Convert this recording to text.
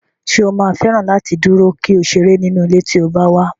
Ṣé o máa fẹ́ràn láti dúró, kí o sì ṣeré nínú ilé tí o bá wà?